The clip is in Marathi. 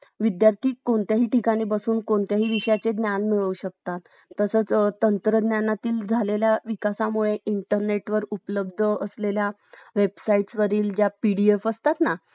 अह हो बरोबर आहे पण बघा number change करायची तुम्हाला काय गरज नाही जशी technology update होत कि नाही तशी आपला number बरोबर ती number चीही technology update होते